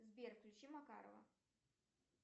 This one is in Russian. сбер включи макарова